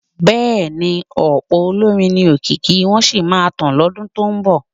Bẹ́ẹ̀ni, ọ̀pọ̀ olórin ni òkìkí wọn sì máa tàn lọ́dún tó ń bọ̀.